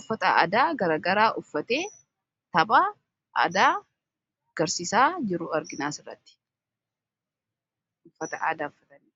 uffata aadaa garagaraa uffatee taphaa aadaa agarsiisaa jiru arginaa asirratti uuffata aadaa uffatani.